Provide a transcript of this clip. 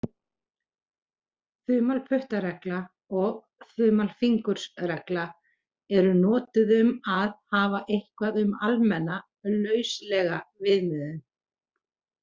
Þumalputtaregla og þumalfingursregla eru notuð um að hafa eitthvað sem almenna, lauslega viðmiðun.